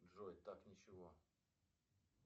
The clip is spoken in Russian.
джой так ничего